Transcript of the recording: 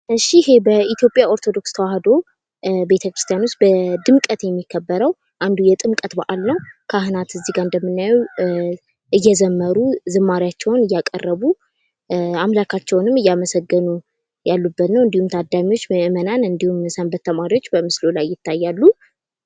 እሽ ይሄ በኢትዮጵያ ኦርቶዶክስ ተዋህዶ ቤተ-ክርስቲያን በድምቀት የሚከበረው አንዱ የጥምቀት በአል ነው። ካህናት እዚህ ጋ እንደምናየው እየዘመሩ ዝማሬያቸውን እያቀረቡ አማላካቸውንም እያመሰገኑ ያሉበት ነው። እንዲሁም ታዳሚዎች ምእመናን እንዲሁም ሰንበት ተማሪዎች በምስሉ ላይ ይታያሉ።